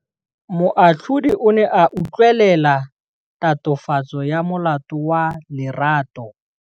Moatlhodi o ne a utlwelela tatofatsô ya molato wa Lerato.